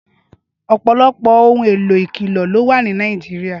Ọpọlọpọ óhùn éló ikọ̀lé ló wà ni Náijirià